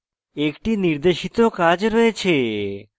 একটি নির্দেশিত কাজ রয়েছে